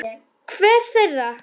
Hver þeirra?